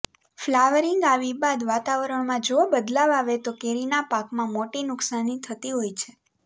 flowering આવી બાદ વાતાવરણમાં જો બદલાવ આવે તો કેરીના પાકમાં મોટી નુકસાની થતી હોય છે